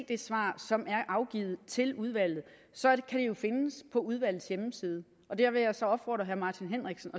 det svar som er afgivet til udvalget så kan det jo findes på udvalgets hjemmeside og der vil jeg så opfordre herre martin henriksen